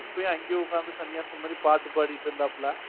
அப்பவே அங்கேயே உட்கார்ந்து பாட்டு பாடிக்கிட்டு இருந்தாப்ல.